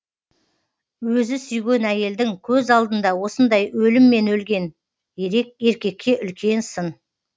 өзі сүйген әйелдің көз алдында осындай өліммен өлген еркекке үлкен сын